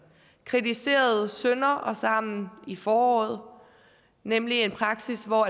kritiserede sønder og sammen i foråret nemlig en praksis hvor